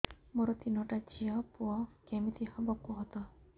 ମୋର ତିନିଟା ଝିଅ ପୁଅ କେମିତି ହବ କୁହତ